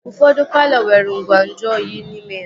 Ụfọdụ palọ nwere ngwa nju oyi n'ime ya